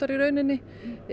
í rauninni